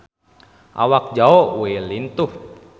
Awak Zhao Wei lintuh